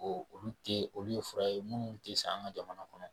O olu te olu ye fura ye munnu te san an' ŋa jamana kɔnɔ.